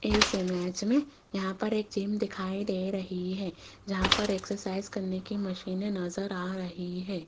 इस इमेज में यहाँ पर एक जिम दिखाई दे रही है जहाँ पर एक एक्सरसाइज करने की मशीने नजर आ रही है।